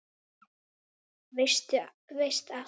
Veist allt.